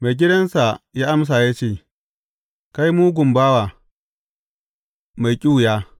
Maigidansa ya amsa ya ce, Kai mugun bawa, mai ƙyuya!